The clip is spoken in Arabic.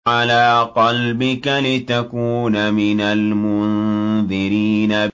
عَلَىٰ قَلْبِكَ لِتَكُونَ مِنَ الْمُنذِرِينَ